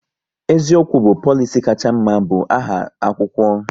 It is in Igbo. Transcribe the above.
*Eziokwu bụ polisi kacha mma"bu aha akwụkwọ